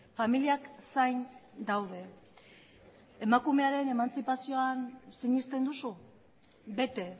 familiak zain daude emakumearen emantzipazioan sinesten duzu bete